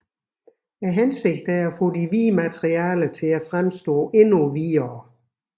Hensigten er at få de hvide materialer til at fremstå endnu hvidere